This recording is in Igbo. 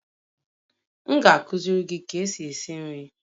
M ga-akụziri gị ka esi esi nri